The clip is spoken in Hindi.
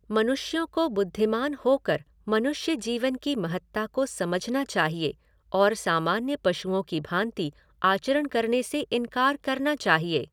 मनुष्यों को बुद्धिमान होकर मनुष्य जीवन की महत्ता को समझना चाहिए और सामान्य पशुओं की भांति आचरण करने से इन्कार करना चाहिए।